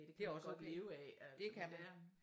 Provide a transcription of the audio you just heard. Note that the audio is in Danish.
Det også okay det kan man